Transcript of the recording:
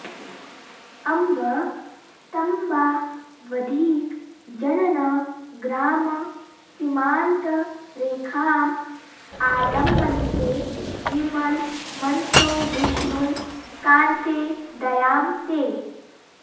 अम्ब स्तम्बावधिक जनन ग्राम सीमान्त रेखाम् आलम्बन्ते विमल मनसो विष्णु कान्ते दयां ते